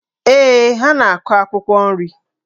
Ee, ha na-akụ akwụkwọ nri.